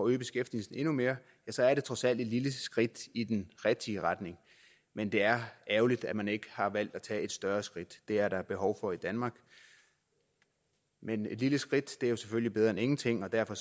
øge beskæftigelsen endnu mere så er det trods alt et lille skridt i den rigtige retning men det er ærgerligt at man ikke har valgt at tage et større skridt det er der behov for i danmark men et lille skridt er selvfølgelig bedre end ingenting og derfor